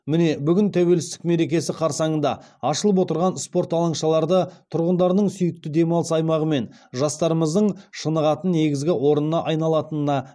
міне бүгін тәуелсіздік мерекесі қарсаңында ашылып отырған спорт алаңшаларды тұрғындарының сүйікті демалыс аймағы мен жастарымыздың шынығатын негізгі орнына айналатынына